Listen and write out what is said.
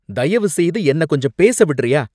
தயவுசெய்து என்ன கொஞ்சம் பேச விடறியா?